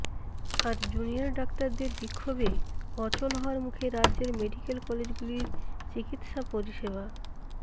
আর junior ডাক্তারদের বিক্ষোভে অচল হওয়ার মুখে রাজ্যের মেডিক্যাল কলেজগুলির চিকিৎসা পরিষেবা